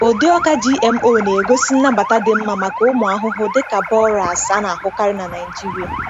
Ụdị ọka GMO na-egosi nnabata dị mma maka ụmụ ahụhụ dị ka borers a na-ahụkarị na Nigeria.